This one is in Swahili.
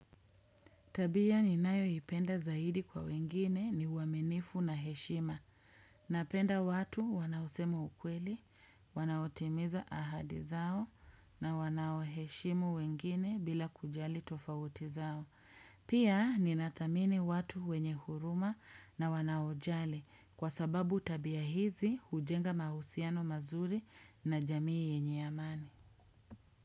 Tabia ninayo ipenda zaidi kwa wengine ni waminifu na heshima. Napenda watu wanaosemu ukweli, wanaotimiza ahadi zao na wanaoheshimu wengine bila kujali tofauti zao. Pia ni na thamini watu wenye huruma na wanaojali kwa sababu tabia hizi hujenga mahusiano mazuri na jamii yenye amani.